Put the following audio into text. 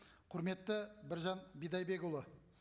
құрметті біржан бидайбекұлы